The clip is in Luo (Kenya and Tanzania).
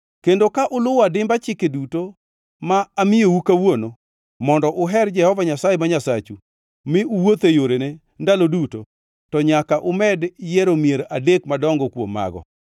kendo ka uluwo adimba chike duto ma amiyou kawuono mondo uher Jehova Nyasaye ma Nyasachu mi uwuotho e yorene ndalo duto, to nyaka umed yiero mier adek madongo kuom mago.